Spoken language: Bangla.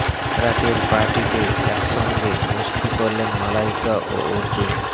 রাতের পার্টি তে একসঙ্গে মস্তি করলেন মালাইকা ও অর্জুন